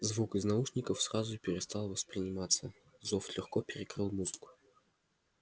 звук из наушников сразу перестал восприниматься зов легко перекрыл музыку